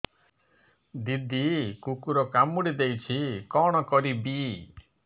ଦିଦି କୁକୁର କାମୁଡି ଦେଇଛି କଣ କରିବି